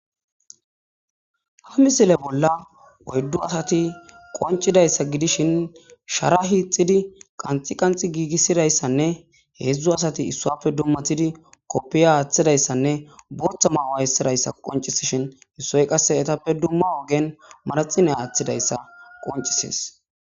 Ha misile bolla oyddu asati qoncidayssa gidishin shara hiixidi qanxi qanxi giigissidayssanne heedzdzu asati issuappe dummatidi koppiya aaththidayssanne bortha mauwayssidayssa qoncisishin issoy qasse etappe dumma ogen maraxine aaththidayssa qoncisees.